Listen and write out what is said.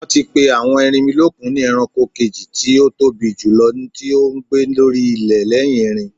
Wọ́n ti pè àwọn erinmilókun ni ẹranko kejì tí ótóbi jùlọ tí ó ń gbé lórí ilẹ̀ lẹ́yìn erin.